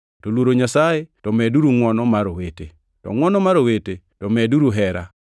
to luoro Nyasaye to medeuru ngʼwono mar owete; to ngʼwono mar owete to medeuru hera.